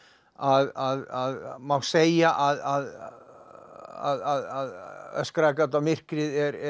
að má segja að öskraðu gat á myrkrið